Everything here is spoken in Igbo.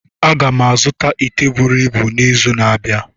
Aga m azụta ite buru ibu n'izu na-abịa